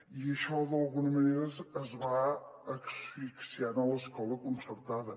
i això d’alguna manera va asfixiant l’escola concertada